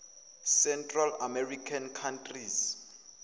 central american countries